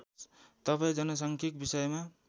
तपाईँ जनसाङ्खिक विषयमा